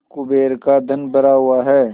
कुबेर का धन भरा हुआ है